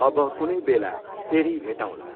अब कुनै बेला, फेरि भेटौँला!